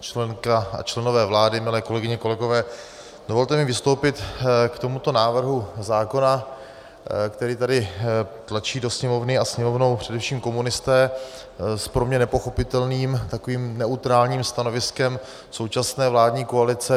Členko a členové vlády, milé kolegyně, kolegové, dovolte mi vystoupit k tomuto návrhu zákona, který tady tlačí do Sněmovny a Sněmovnou především komunisté s pro mě nepochopitelným takovým neutrálním stanoviskem současné vládní koalice.